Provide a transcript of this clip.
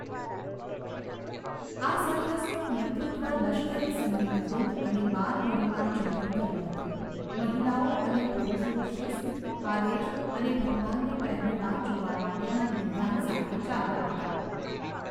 આ સરઘસનું નેતૃત્વ લશ્કરી સંગીત વૃંદ અને બાલવીરોના જૂથે કર્યું હતું. મહિલાઓ અને પુરુષો શિસ્ત, આદેશ અને ભગવાનને પહેલીવાર જોવા માટેના નિર્ધાર સાથે ચાલતા હતા.